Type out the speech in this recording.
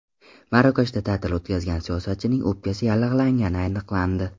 Marokashda ta’til o‘tkazgan siyosatchining o‘pkasi yallig‘langani aniqlandi.